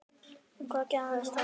En hvað gerðist þar?